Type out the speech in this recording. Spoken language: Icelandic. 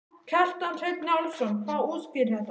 Kjartan Hreinn Njálsson: Hvað útskýrir þetta?